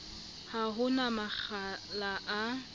ha ho na makgala a